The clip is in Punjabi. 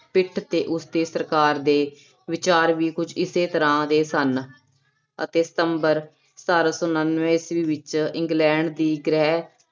ਪਿੱਠ ਤੇ ਉਸਦੇ ਸਰਕਾਰ ਦੇ ਵਿਚਾਰ ਵੀ ਕੁਛ ਇਸੇ ਤਰ੍ਹਾਂ ਦੇ ਸਨ, ਅਤੇ ਸਤੰਬਰ ਸਤਾਰਾਂ ਸੌ ਉਨਾਨਵੇਂ ਈਸਵੀ ਵਿੱਚ ਇੰਗਲੈਂਡ ਦੀ ਗ੍ਰਹਿ